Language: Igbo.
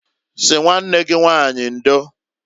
Sị nwanne gị nwanyị ndoǃ